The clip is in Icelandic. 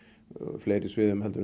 fleiri sviðum en